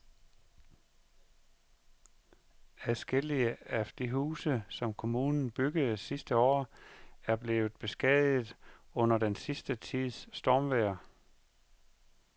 Adskillige af de huse, som kommunen byggede sidste år, er blevet beskadiget under den sidste tids stormvejr.